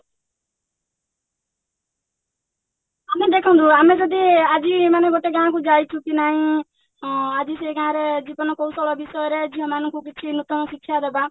ଆପଣ ଦେଖନ୍ତୁ ଆମେ ଯଦି ଆଜି ମାନେ ଗୋଟେ ଗାଁକୁ ଯାଇଛୁ କି ନାଇଁ ଅ ଆଜି ସେ ଗାଁରେ ଜୀବନ କୌଶଳ ବିଷୟରେ ଝିଅ ମାନଙ୍କୁ କିଛି ନୂତନ ଶିକ୍ଷା ଦବା